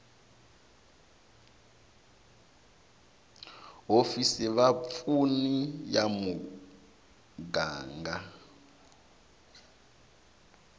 hofisi va vapfuni ya muganga